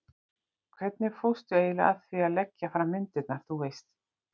hvernig fórstu eiginlega að því að leggja fram myndirnar, þú veist.